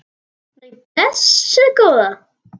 Nei, blessuð góða.